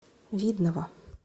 видного